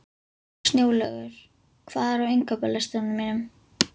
Snjólaugur, hvað er á innkaupalistanum mínum?